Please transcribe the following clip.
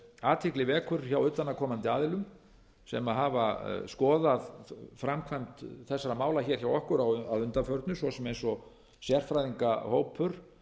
athygli vekur hjá utanaðkomandi aðilum sem hafa skoðað framkvæmd þessara mála hjá okkur að undanförnu svo sem eins og sérfræðingahópur